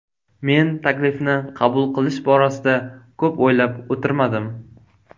Men taklifni qabul qilish borasida ko‘p o‘ylab o‘tirmadim.